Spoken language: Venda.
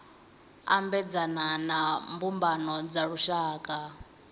ambedzana na mbumbano dza lushaka